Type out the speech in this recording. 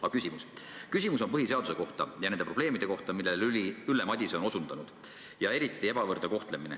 Aga mu küsimus on põhiseaduse kohta ja nende probleemide kohta, millele Ülle Madise on osutanud, näiteks ebavõrdne kohtlemine.